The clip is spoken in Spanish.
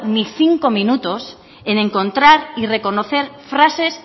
ni cinco minutos en encontrar y reconocer frases